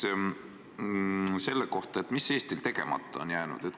Ma küsin selle kohta, mis Eestil tegemata on jäänud.